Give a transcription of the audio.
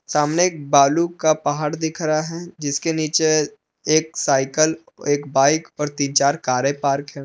सामने एक बालू का पहाड़ दिख रहा है जिसके नीचे एक सायकल एक बाइक और तीन चार कारें पार्क हैं।